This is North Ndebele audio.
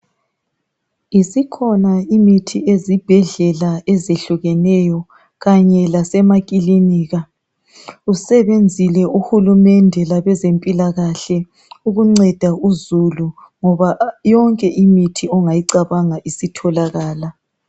Isikhona imithi ezibhedlela ezehlukeneyo kanye lasemakilinika, usebenzile uhulumende kanye labezempilakahle ukunceda uzulu ngoba yonke imithi ongayicabanga isitholakala